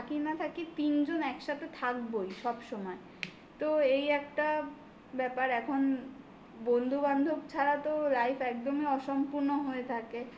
তিনজন একসাথে থাকবোই সব সময় তো এই একটা ব্যাপার এখন বন্ধু বন্ধুবান্ধব ছাড়া তো life একদমই অসম্পূর্ণ হয়ে থাকে.